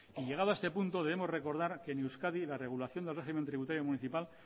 y llegado a este punto debemos que recordar que en euskadi la regulación del régimen tributario municipal